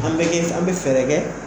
An bɛ kɛ an bɛ fɛɛrɛ kɛ